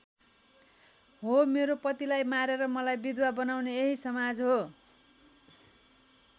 हो मेरो पतिलाई मारेर मलाई विधवा बनाउने यही समाज हो।